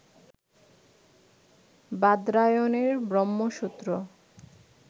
বাদরায়ণের Brahmasutra